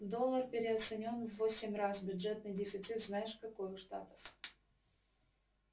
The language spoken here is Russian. доллар переоценён в восемь раз бюджетный дефицит знаешь какой у штатов